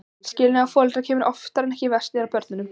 Skilnaður foreldra kemur oftar en ekki verst niður á börnunum.